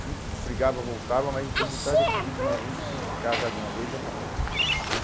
A gente brigava, voltava, mas a gente estava decidindo, não, a gente tem que casar de uma vez e acabou, né?